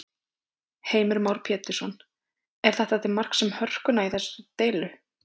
Heimir Már Pétursson: Er þetta til marks um hörkuna í þessari deilu?